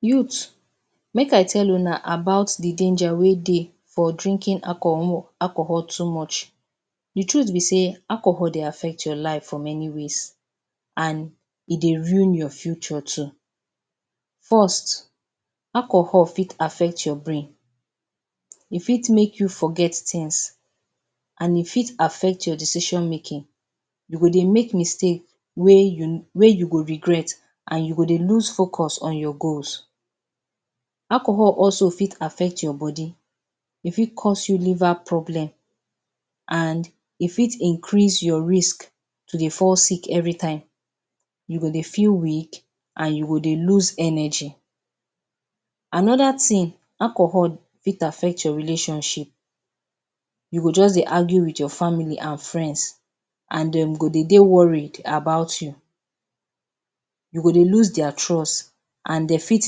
Youth make I tell una about the danger wey dey for drinking alcohol too much. The truth be sey Alcohol dey affect your life for many ways and e dey ruin your future too. First alcohol fit affect your brain, e fit make you forget things and e fit affect your decision making. You go dey make mistake wey you go regret and you go dey loose focus on your goals. Alcohol also fit affect your body, e fit cause you liver problem and e fit increase yor risk to dey fall sick every time, you go dey fill weak and you go dey loose energy. Another thing, alcohol fit affect your relationship, you go just dey argue with your family and friends and dem go de dey worried about you, you go dey loose their trust, and dem fit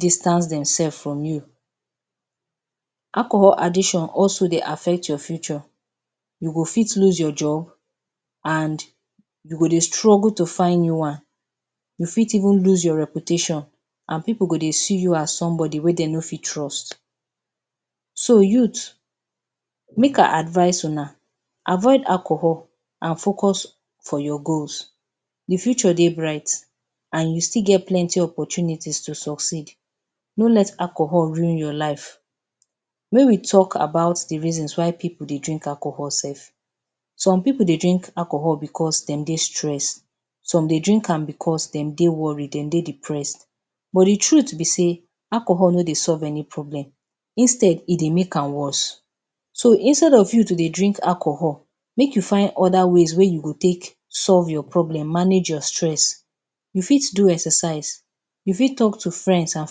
distance demself from you, alcohol addition also dey affect your future you fit loose your job and you go dey struggle to find new one, you fit even loose your reputation and pipul go dey see you as some body wey dey no fit trust, avoid alcohol and focus on your goals. The future dey bright and you fit get plenty opportunity to succeed, no let alcohol ruin your life. Mey we talk about the reason why make pipul dey drink alcohol self. Some pipul dey drink alcohol because dem dey stress, some dey drink am because dem dey worried, dem dey depress but the truth be sey alcohol no dey solve any problem instead e dey make am worse so instead of you to dey drink alcohol make you find other ways wey you go take solve your problem, manage your stress. You fit do exercise, you fit talk to friends and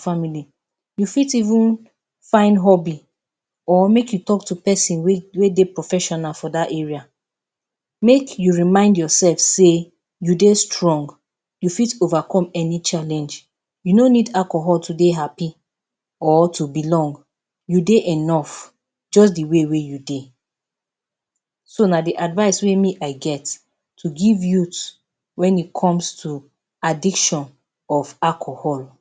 family, you fit even find hubby or make you talk to person wey dey professional for dat area. Make you remind yourself sey, you dey strong, you fit overcome any challenge, you no needal cohol to dey happy or to belong, you dey enough just the wey you dey so na the advice wey me I get to give youth when e come to addiction to alcohol.